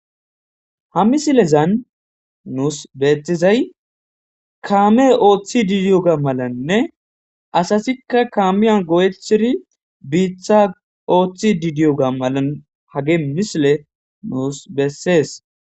Ha missilezan nusi betizay kame ootidideioga malanne asatika kamiya go'atidi bita ootidideioga malan hage missile nus beses.